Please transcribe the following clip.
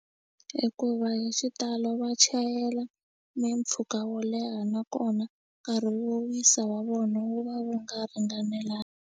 Hikuva hi xitalo va chayela mimpfhuka wo leha nakona nkarhi wo wisa wa vona wu va wu nga ringanelanga.